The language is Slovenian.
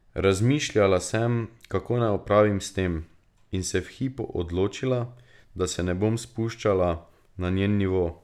Razmišljala sem, kako naj opravim s tem, in se v hipu odločila, da se ne bom spuščala na njen nivo.